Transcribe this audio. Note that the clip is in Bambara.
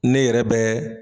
Ne yɛrɛ bɛ